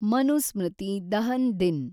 Manusmriti Dahan Din